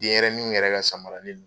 Den yɛrɛninw yɛrɛ ka samaranin nu